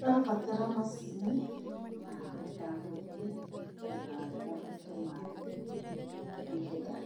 Ũrabatara macini ya gũthiĩ na nĩũrabatara maĩ nĩgetha